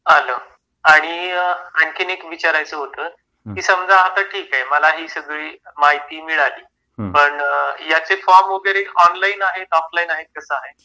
आलं. आणि आणखीन एक विचारायचं होतं. की समजा ठीक आहे मला ही सगळी माहिती मिळाली, पण याचे फॉर्म वगैरे ऑनलाइन आहेतऑफलाईन आहेत कसं आहे?